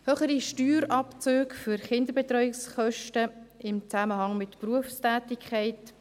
Höhere Steuerabzüge für Kinderbetreuungskosten in Zusammenhang mit Berufstätigkeit: